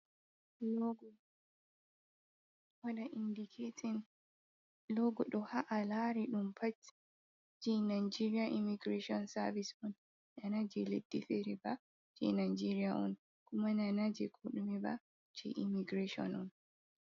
Logo, waɗa indiketin logo ɗo ha’a lari ɗum pat je nageria imagirashon savis on. Nana ge leɗɗi fere ba, je nageria on. Kuma nanaje koɗume ba ce imagirashon on.